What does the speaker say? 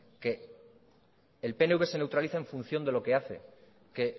que el pnv se neutraliza en función de lo que hace que